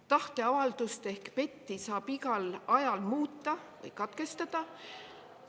Tahteavaldust ehk PET-i saab igal ajal muuta või katkestada.